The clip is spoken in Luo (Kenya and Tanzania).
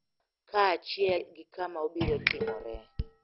Kaachiel gi kama obiro timoree.